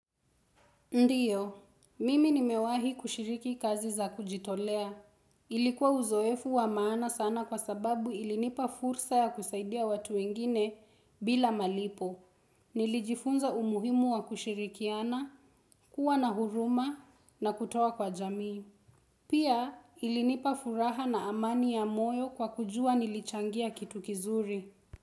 Ndiyo, mimi nimewahi kushiriki kazi za kujitolea. Ilikuwa uzoefu wa maana sana kwa sababu ilinipa fursa ya kusaidia watu wengine bila malipo. Nilijifunza umuhimu wa kushirikiana, kuwa na huruma na kutoa kwa jamii. Pia ilinipa furaha na amani ya moyo kwa kujua nilichangia kitu kizuri.